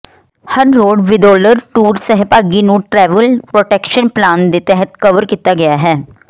ਹਰ road ਵਿਦੋਲਰ tour ਸਹਿਭਾਗੀ ਨੂੰ ਟ੍ਰੈਵਲ ਪ੍ਰੋਟੈਕਸ਼ਨ ਪਲਾਨ ਦੇ ਤਹਿਤ ਕਵਰ ਕੀਤਾ ਗਿਆ ਹੈ